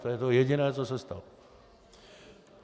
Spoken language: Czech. To je to jediné, co se stalo.